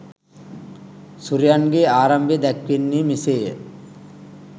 සුරයන්ගේ ආරම්භය දැක්වෙන්නේ මෙසේය.